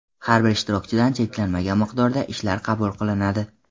Har bir ishtirokchidan cheklanmagan miqdorda ishlar qabul qilinadi.